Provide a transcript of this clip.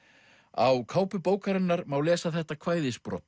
á kápu bókarinnar má lesa þetta